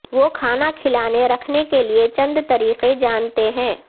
وہ کھانا کھلانے رکھنے کے لئے چند طریقے جانتے ہیں